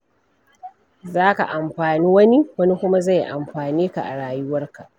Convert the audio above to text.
Za ka amfani wani, wani kuma zai amfane ka a rayuwarka.